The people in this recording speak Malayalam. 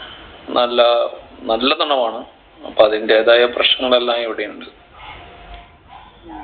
നല്ല നല്ല തണുപ്പാണ് അപ്പൊ അതിന്റെതായ പ്രശ്നങ്ങളെല്ലാം ഇവിടെ ഉണ്ട്